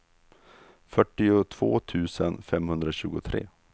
fyrtiotvå tusen femhundratjugotre